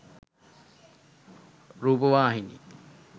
rupavahini